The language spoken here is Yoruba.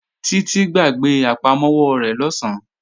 Títí gbàgbé àpamọ́wọ́ rẹ̀ lọ̀sán